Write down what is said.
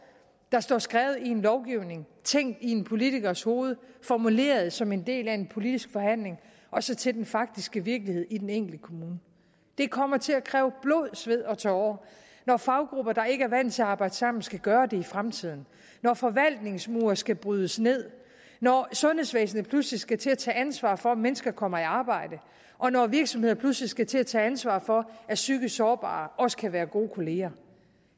der står skrevet i en lovgivning tænkt i en politikers hoved og formuleret som en del af en politisk forhandling og så til den faktiske virkelighed i den enkelte kommune det kommer til at kræve blod sved og tårer når faggrupper der ikke er vant til at arbejde sammen skal gøre det i fremtiden når forvaltningsmure skal brydes ned når sundhedsvæsenet pludselig skal til at tage ansvar for om mennesker kommer i arbejde og når virksomheder pludselig skal til at tage ansvar for at psykisk sårbare også kan være gode kolleger